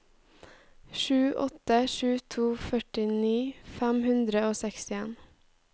sju åtte sju to førtini fem hundre og sekstien